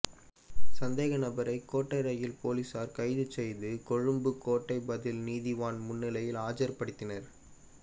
சந்தேகநபரை கோட்டை ரயில் நிலைய பொலிஸார் கைது செய்து கொழும்பு கோட்டை பதில் நீதவான் முன்னிலையில் ஆஜர்படுத்தினர்